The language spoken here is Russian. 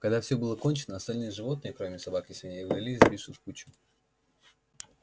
когда все было кончено остальные животные кроме собак и свиней удалились сбившись в кучу